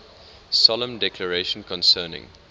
solemn declaration concerning